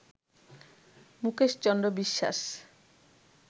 Mukesh Chandra Biswas